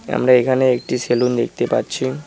আমরা এখানে একটি সেলুন দেখতে পাচ্ছি।